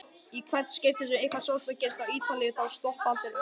Í hvert skipti sem eitthvað sorglegt gerist á Ítalíu þá stoppa allir öllu.